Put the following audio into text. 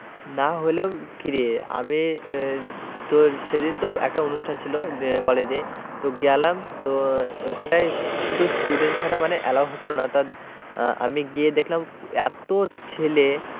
না হলেও কিরে আমি তোর সেদিন তো একটা অনুষ্ঠান ছিল কলেজে তো গেলাম তো ওখানটায় শুধু student ছাড়া মানে অ্যালাও হচ্ছিল না আমি গিয়ে দেখলাম এত ছেলে,